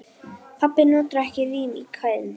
Pabbi notar ekki rím í kvæðin sín.